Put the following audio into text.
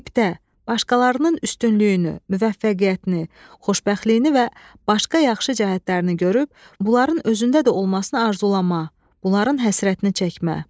Qibdə, başqalarının üstünlüyünü, müvəffəqiyyətini, xoşbəxtliyini və başqa yaxşı cəhətlərini görüb, bunların özündə də olmasına arzulamaq, bunların həsrətini çəkmək.